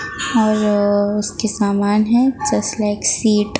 और उसके सामान है जस्ट लाइक सीट ।